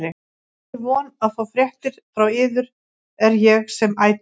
Með þeirri von að fá fréttir frá yður er ég sem ætíð